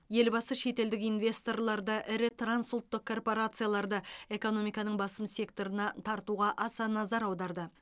елбасы шетелдік инвесторларды ірі трансұлттық корпорацияларды экономиканың басым секторына тартуға аса назар аударды